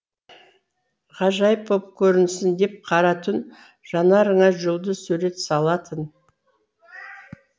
ғажайып боп көрінсін деп қара түн жанарыңа жұлдыз сурет салатын